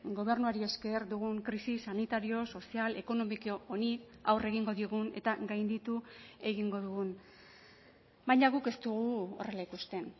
gobernuari esker dugun krisi sanitario sozial ekonomiko honi aurre egingo diogun eta gainditu egingo dugun baina guk ez dugu horrela ikusten